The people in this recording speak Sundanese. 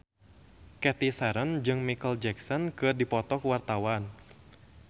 Cathy Sharon jeung Micheal Jackson keur dipoto ku wartawan